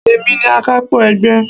Èmi ni akapo ẹgbẹ́.